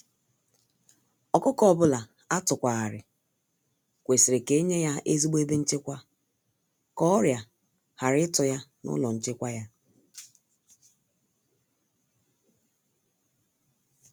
Ọkụkọ ọbula atukwa ghari, kwesịrị ka enye ya ezigbo ebe nchekwa ka ọrià ghara ịtụ ya n'ụlọ nchekwa ya.